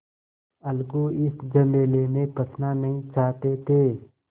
अलगू इस झमेले में फँसना नहीं चाहते थे